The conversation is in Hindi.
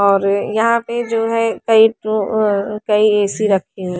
और यहाँ पर जो है कही तो अ ए_सी रखे हुए--